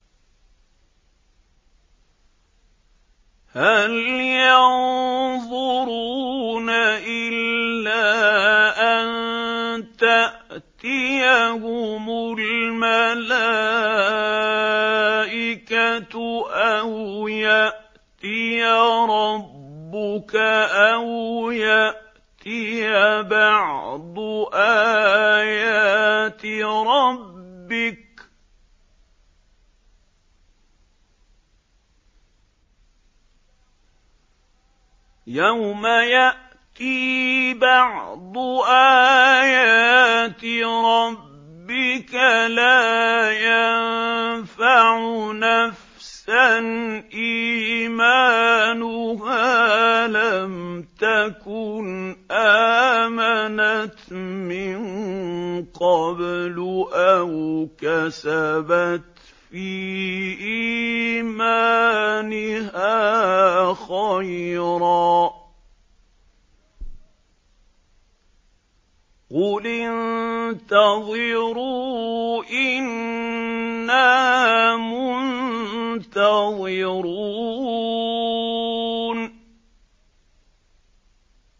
هَلْ يَنظُرُونَ إِلَّا أَن تَأْتِيَهُمُ الْمَلَائِكَةُ أَوْ يَأْتِيَ رَبُّكَ أَوْ يَأْتِيَ بَعْضُ آيَاتِ رَبِّكَ ۗ يَوْمَ يَأْتِي بَعْضُ آيَاتِ رَبِّكَ لَا يَنفَعُ نَفْسًا إِيمَانُهَا لَمْ تَكُنْ آمَنَتْ مِن قَبْلُ أَوْ كَسَبَتْ فِي إِيمَانِهَا خَيْرًا ۗ قُلِ انتَظِرُوا إِنَّا مُنتَظِرُونَ